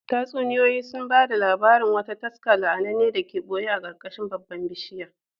Tatsuniyoyi sun ba da labarin wata taska la’ananne da ke ɓoye a ƙarƙashin babban bishiyar